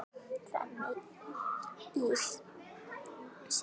Frammi í situr